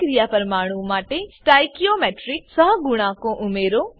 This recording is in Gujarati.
પ્રતિક્રિયા પરમાણુ માટે સ્ટોઇચિયોમેટ્રિક સહગુણાંકો ઉમેરો